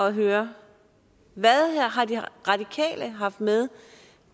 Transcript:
at høre hvad har de radikale haft med